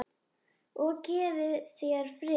Og gefi þér frið.